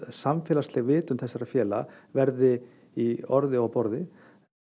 samfélagsleg vitund þessara félaga verði í orði og á borði